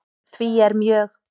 Því er mjög